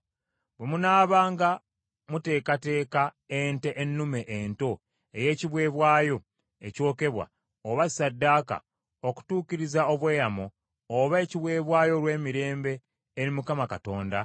“Bwe munaabanga muteekateeka ente ennume ento ey’ekiweebwayo ekyokebwa oba ssaddaaka, okutuukiriza obweyamo, oba ekiweebwayo olw’emirembe eri Mukama Katonda,